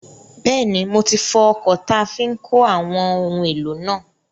Bẹ́ẹ̀ni, mo ti fọ ọkọ̀ táa fi n kó àwọn ohun èlò náà